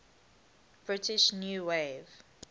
british new wave